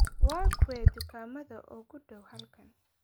Waa kuwee dukaamada u dhow halkan?